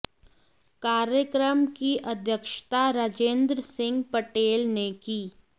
कार्यक्रम की अध्यक्षता राजेंद्र सिंह पटेल ने की